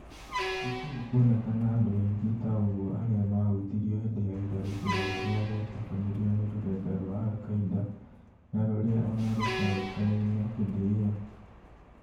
Gũtirĩ kũonekana andũ aingĩ ta ũgũo arĩa mahutirio hĩndĩ ya itharĩkĩra rĩrĩa rĩatabanirio nĩ rũrenda rwa Al Qaida na rũrĩa ona rũtoĩkaine hĩndĩ ĩyo